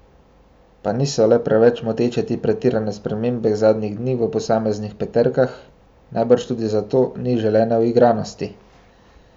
Pa niso le preveč moteče te pretirane spremembe zadnjih dni v posameznih peterkah, najbrž tudi zato ni želene uigranosti?